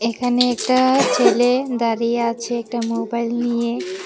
এখানে একটা ছেলে দাঁড়িয়ে আছে একটা মোবাইল নিয়ে।